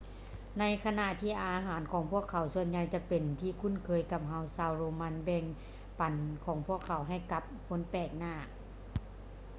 ໃນຂະນະທີ່ອາຫານຂອງພວກເຂົາສ່ວນໃຫຍ່ຈະເປັນທີ່ຄຸ້ນເຄີຍກັບເຮົາ ຊາວໂຣມັນແບ່ງປັນຂອງພວກເຂົາໃຫ້ກັບຄົນແປໜ້າ ຫຼື ລາຍການສະຫຼອງທີ່ຜິດປົກກະຕິລວມມີ: ໝູປ່າ ນົກຍຸງ ຫອຍທາກ ແລະ ໜູຊະນິດໜຶ່ງທີ່ເອີ້ນວ່າ dormouse